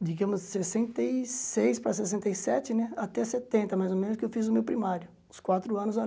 digamos, sessenta e seis para sessenta e sete né, até setenta mais ou menos, que eu fiz o meu primário, os quatro anos ali.